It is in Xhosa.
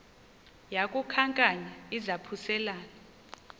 yaku khankanya izaphuselana